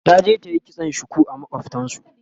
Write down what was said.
taje ta yi kitson shuku a makwaftansu